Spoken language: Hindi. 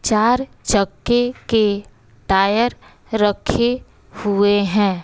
चार चक्के के टायर रखे हुए हैं।